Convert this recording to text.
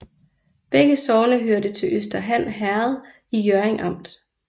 Begge sogne hørte til Øster Han Herred i Hjørring Amt